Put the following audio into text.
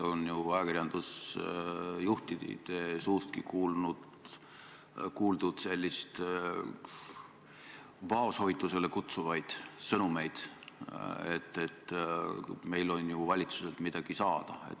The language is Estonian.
On ajakirjandusjuhtide suustki kuuldud vaoshoitusele kutsuvaid sõnumeid, et meil on ju valitsuselt midagi saada.